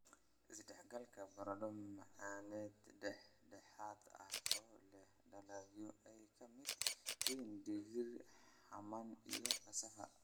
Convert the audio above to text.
"Is-dhex-galka Baradho-macaaneed Dhex-dhexaadin ah oo leh dalagyo ay ka mid yihiin digir xamaam iyo cassava.